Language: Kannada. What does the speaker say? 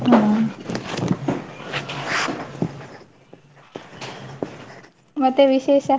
ಹಾ ಮತ್ತೆ ವಿಶೇಷ?